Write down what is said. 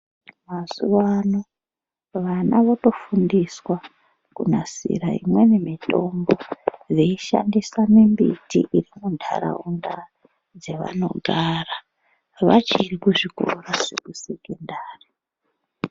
Mazuva ano vana votofundiswa kunasira imweni mitombo veishandisa mimbiti dzemundaraunda yavanogara vachiri kuzvikora zvekusekondari.